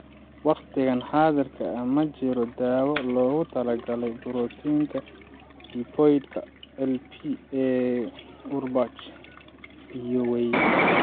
Waqtigan xaadirka ah ma jirto daawo loogu talagalay borotiinnada lipoid-ka (LP) ee Urbach iyo Wiethe.